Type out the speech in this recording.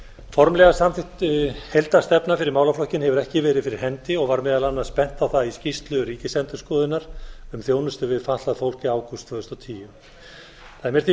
formlega samþykkt heildarstefna fyrir málaflokkinn hefur ekki verið fyrir hendi og var meðal annars bent á það í skýrslu ríkisendurskoðunar um þjónustu við fatlað fólk í ágúst tvö þúsund og tíu það er mér því